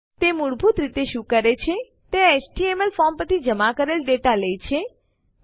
તે મૂળભૂત રીતે શું કરે છે તે એચટીએમએલ ફોર્મ પરથી જમા કરેલ ડેટા લે છે